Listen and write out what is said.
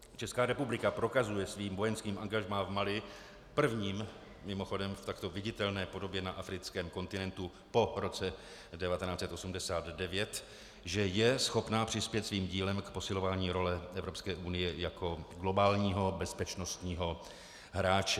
Česká republika prokazuje svým vojenským angažmá v Mali, prvním, mimochodem, v takto viditelné podobě na africkém kontinentu po roce 1989, že je schopna přispět svým dílem k posilování role Evropské unie jako globálního bezpečnostního hráče.